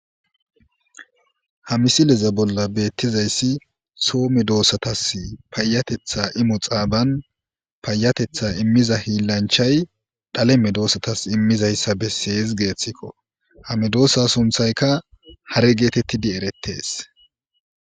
Ha mmisileza bolla beettizayssi soo medosatas payyateththa imo xaaban payyateththa immiza hiilanchchay dhale medosatas immizayssa besses geeththiko. Ha medosa sunththaykka hare geetettidi eres.